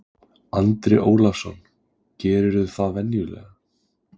Andri Ólafsson: Gerirðu það venjulega?